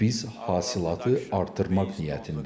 Biz hasilatı artırmaq niyyətindəyik.